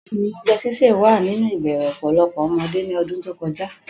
Bẹ́ẹ̀ni, oúnjẹ sísè wà nínú ìbẹ̀rẹ̀ ọ̀pọ̀lọpọ̀ ọmọdé ní ọdún tó kọjá.